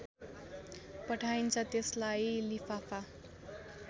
पठाइन्छ त्यसलाई लिफाफा